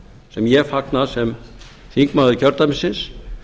sem ég fagna sem þingmaður kjördæmisins